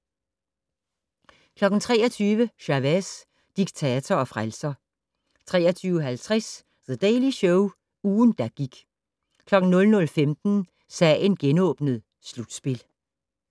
23:00: Chavez - diktator og frelser 23:50: The Daily Show - ugen, der gik 00:15: Sagen genåbnet: Slutspil